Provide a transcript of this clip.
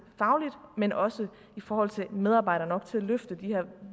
men også i forhold til medarbejdere nok til at løfte de her